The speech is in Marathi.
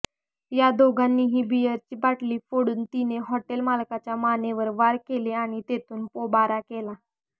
या दोघांनीही बिअरची बाटली फोडून तिने हॉटेल मालकाच्या मानेवर वार केले आणि तिथून पोबारा केला